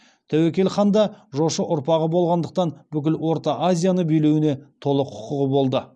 тәуекел хан да жошы ұрпағы болғандықтан бүкіл орта азияны билеуіне толық құқығы болды